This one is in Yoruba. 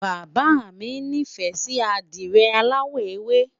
bàbá mi ní fẹ Si adire alawọ ewe